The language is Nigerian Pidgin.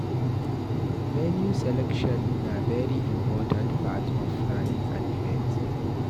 Venue selection na very important part of planning an event